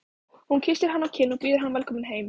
Hún kyssir hann á kinn og býður hann velkominn heim.